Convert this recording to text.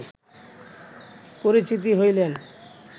পরিচিত হইলেন